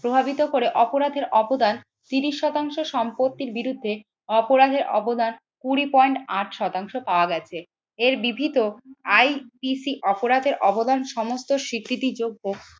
প্রভাবিত করে অপরাধের অবদান তিরিশ শতাংশ সম্পত্তির বিরুদ্ধে অপরাধের অবদান কুড়ি পয়েন্ট আট শতাংশ পাওয়া গেছে। এর ব্রিভিত IPC অপরাধের অবদান সমস্ত স্বীকৃতি যোগ্য